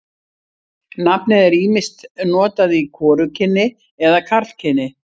Nafnið er ýmist notað í hvorugkyni eða karlkyni.